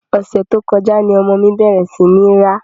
Ọ̀sẹ̀ tó kọjá ni ọmọ mi bẹ̀rẹ̀ sí ní ń rá.